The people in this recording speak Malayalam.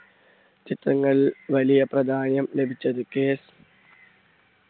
ചിത്രങ്ങളിൽ വലിയ പ്രാധാന്യം ലഭിച്ചത്. കെ